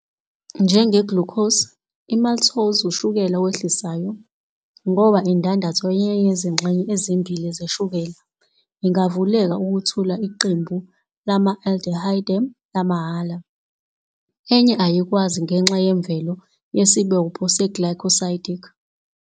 Njenge-glucose, i-maltose ushukela owehlisayo, ngoba indandatho yenye yezingxenye ezimbili zeshukela ingavuleka ukwethula iqembu lama-aldehyde lamahhala, enye ayikwazi ngenxa yemvelo yesibopho se-glycosidic.